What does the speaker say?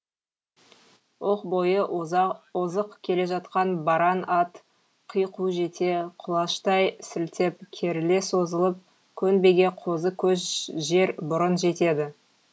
оқ бойы озық келе жатқан баран ат қику жете құлаштай сілтеп керіле созылып көнбеге қозы көш жер бұрын жетеді